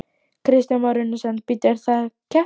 Kristján Már Unnarsson: Bíddu, er það keppnin?